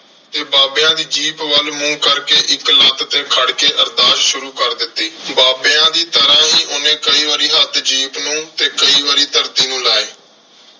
ਤੇ ਬਾਬਿਆਂ ਦੀ ਜੀਪ ਵੱਲ ਮੂੰਹ ਕਰਕੇ ਇੱਕ ਲੱਤ ਤੇ ਖੜ ਕੇ ਅਰਦਾਸ ਸ਼ੁਰੂ ਕਰ ਦਿੱਤੀ। ਬਾਬਿਆਂ ਦੀ ਤਰ੍ਹਾਂ ਹੀ ਉਹਨੇ ਕਈ ਵਾਰੀ ਹੱਥ ਜੀਪ ਨੂੰ ਤੇ ਕਈ ਵਾਰੀ ਧਰਤੀ ਨੂੰ ਲਾਏ।